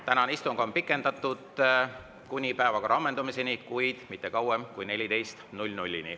Tänast istungit on pikendatud kuni päevakorra ammendumiseni, kuid mitte kauemaks kui kella 14-ni.